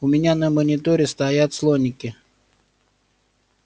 у меня на мониторе стоят слоники